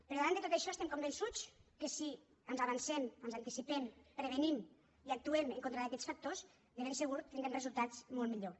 però davant de tot això estem convençuts que si ens avancem ens anticipem prevenim i actuem en contra d’aquests factors de ben segur tindrem resultats molt millors